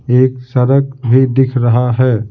एक सड़क भी दिख रहा है ।